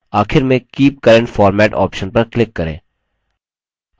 आखिर में keep current format option पर click करें